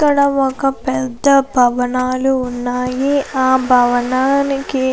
ఇక్కడ ఒక పెద్ద భవనాలు ఉన్నాయి. ఆ భవనానికి అనేక --